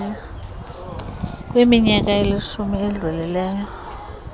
kwiminyaka elishumi edlulileyo